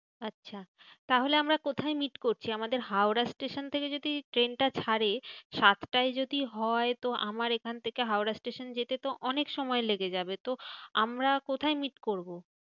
আচ্ছা তাহলে আমরা কোথায় meet করছি? আমাদের হাওড়া স্টেশন থেকে যদি ট্রেনটা ছাড়ে, সাতটায় যদি যদি হয়, তো আমার এখন থেকে হাওড়া স্টেশন যেতে তো অনেক সময় লেগে যাবে। তো আমরা কোথায় meet করবো?